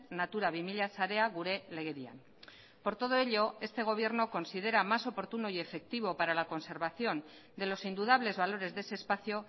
natura bi mila sarea gure legedian por todo ello este gobierno considera más oportuno y efectivo para la conservación de los indudables valores de ese espacio